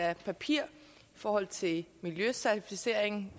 af papir i forhold til miljøcertificering